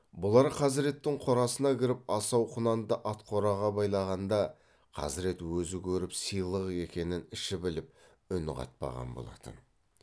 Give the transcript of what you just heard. бұлар хазіреттің қорасына кіріп асау құнанды ат қораға байлағанда хазірет өзі көріп сыйлық екенін іші біліп үн қатпаған болатын